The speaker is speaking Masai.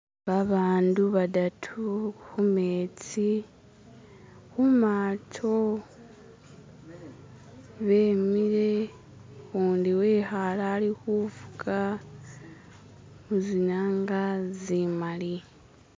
babandu badatu humetsi humato bimile kundi wihale ali hufuka muzinanga zimali